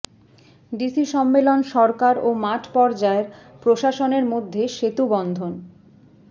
DC সম্মেলন সরকার ও মাঠ পর্যায়ের প্রশাসনের মধ্যে সেতুবন্ধন